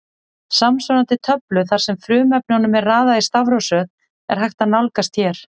Samsvarandi töflu þar sem frumefnunum er raðað í stafrófsröð er hægt að nálgast hér.